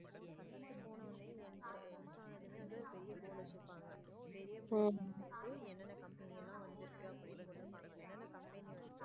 First போனதுமே enter ஆனதுமே ஒரு பெரிய board வச்சிருப்பாங்க என்னென்ன company எல்லாம் வந்து இருக்கு போட்டு இருப்பாங்க என்ன என்ன company வந்து.